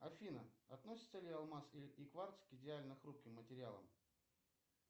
афина относится ли алмаз и кварц к идеально хрупким материалам